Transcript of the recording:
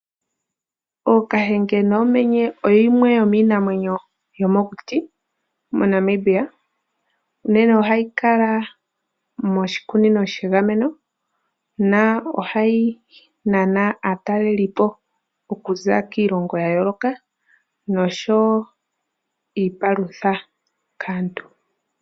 Ookahenge noomenye yimwe yomiinamwenyo yomokuti moNamibia. Unene ohayi kala moshikunino shagamenwa , ohayi nana aatalelipo wo okuza kiilongo yayooloka noshowoo iipalutha kaantu.